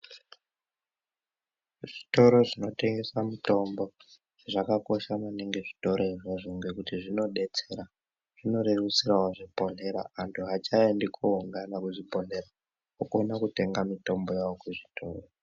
Zvitoro zvinotengesa mutombo, zvakakosha maningi zvitoro izvozvo ngekuti zvinodetsera. Zvinorerutsirawo zvibhohlera. Antu achaendi koungana kuzvibhohlera, okona kutenga mitombo yawo kuzvitoro.